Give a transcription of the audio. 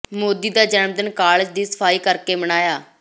ਮੋਦੀ ਦਾ ਜਨਮ ਦਿਨ ਕਾਲਜ ਦੀ ਸਫ਼ਾਈ ਕਰਕੇ ਮਨਾਇਆ